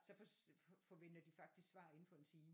Så forventer de faktisk svar inden for en time